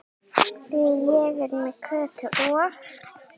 Því ég er með Kötu og